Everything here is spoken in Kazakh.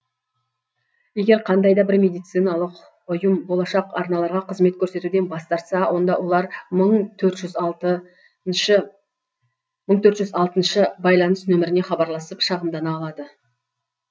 егер қандай да бір медициналық ұйым болашақ аналарға қызмет көрсетуден бас тартса онда олар мың төрт жүз алтыншы байланыс нөміріне хабарласып шағымдана алады